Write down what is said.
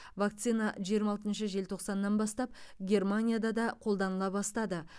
вакцина жиырма алтыншы желтоқсаннан бастап германияда да қолданыла бастады